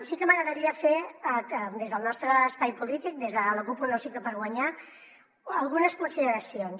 sí que m’agradaria fer des del nostre espai polític des de la cup un nou cicle per guanyar algunes consideracions